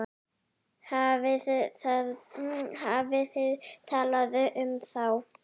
Hafið þið talað við þá?